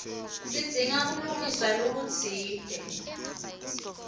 sidzinga kulungiswa lokutsite